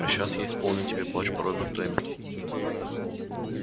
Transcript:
а сейчас я исполню тебе плач по роберту эммету